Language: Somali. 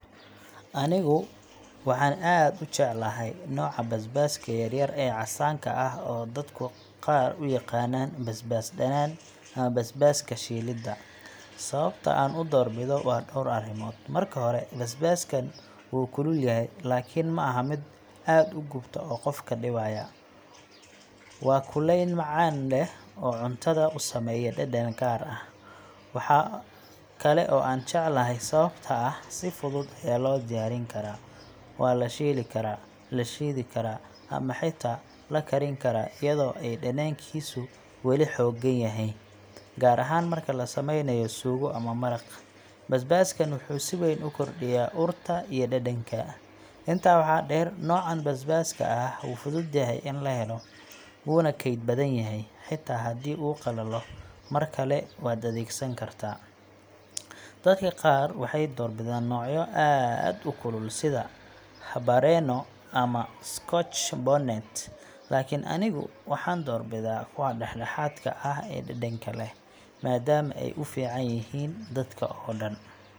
Anigu waxaan aad u jecelahay nooca basbaaska yar-yar ee casaanka ah oo dadka qaar u yaqaanaan basbaas dhanaan ama basbaaska shiilidda. Sababta aan u doorbido waa dhowr arrimood. Marka hore, basbaaskan wuu kulul yahay, laakiin ma aha mid aad u gubta oo qofka dhibaya – waa kulayn macaan leh oo cuntada u sameeya dhadhan gaar ah. Waxa kale oo aan jecelahay sababtoo ah si fudud ayaa loo diyaarin karaa – waa la shiili karaa, la shiidi karaa, ama xitaa la kariin karaa iyadoo ay dhadhankiisu weli xooggan yahay. Gaar ahaan marka la sameynayo suugo ama maraq, basbaaskan wuxuu si weyn u kordhiyaa urta iyo dhadhanka. Intaa waxaa dheer, noocaan basbaaska ah wuu fudud yahay in la helo, wuuna kayd badan yahay xitaa haddii uu qalalo, mar kale waad adeegsan kartaa. Dadka qaar waxay doorbidaan noocyo aad u kulul sida habanero ama scotch bonnet, laakiin anigu waxaan doorbidaa kuwa dhexdhexaadka ah ee dhadhanka leh, maadaama ay u fiican yihiin dadka oo dhan.